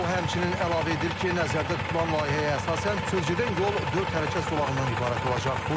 O həmçinin əlavə edir ki, nəzərdə tutulan layihəyə əsasən, sözgedən yol dörd hərəkət zolağından ibarət olacaq.